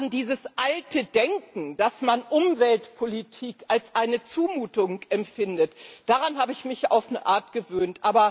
An dieses alte Denken, dass man Umweltpolitik als Zumutung empfindet, habe ich mich auf eine Art gewöhnt.